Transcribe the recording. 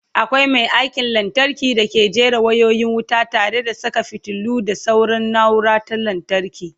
akwai Mai aikin lantarki dake jera wayoyin wuta tare da Saka fitilu da sauran naura ta lantarki